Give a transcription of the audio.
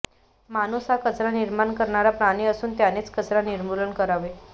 माणूस हा कचरा निर्माण करणारा प्राणी असून त्यानेच कचरा निर्मूलन करावे